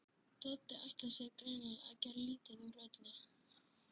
Doddi ætlar sér greinilega að gera lítið úr öllu.